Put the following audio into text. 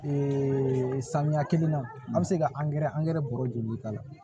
samiya kelen na an bɛ se ka angɛrɛ angɛrɛ bɔrɔ joli k'a la